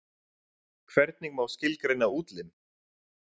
Hvernig má skilgreina útlim?